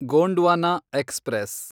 Gondwana express